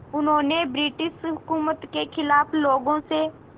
उन्होंने ब्रिटिश हुकूमत के ख़िलाफ़ लोगों से